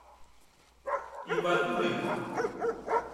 ибатуллиной